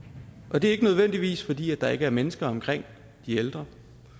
og det er ikke nødvendigvis fordi der ikke er mennesker omkring de ældre